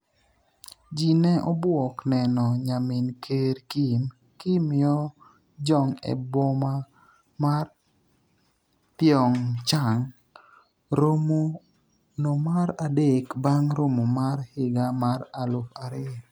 ji ne obwok neno nyamin ker Kim, Kim Yo jong e boma mar Pyeongchang. romo no mar adek bang' romo mar higa mar aluf ariyo